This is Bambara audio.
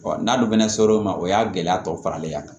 n'a dun fɛnɛ ser'o ma o y'a gɛlɛya tɔ faralen ye yan